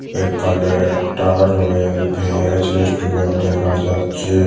এখানে একটা royal veg restaurant দেখা যাচ্ছে।